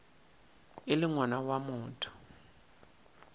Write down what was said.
e le ngwana wa motho